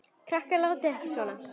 Krakkar látiði ekki svona!